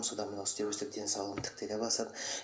содан мына денсаулығым тіктеле бастады